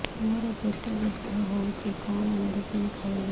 ମୋର ପେଟ ବ୍ୟଥା ହଉଚି କଣ ମେଡିସିନ ଖାଇବି